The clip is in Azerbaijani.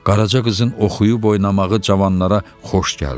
Qaraca qızın oxuyub oynamağı cavanlara xoş gəldi.